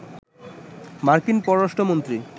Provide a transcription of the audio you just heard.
মার্কিন পররাষ্ট্র মন্ত্রী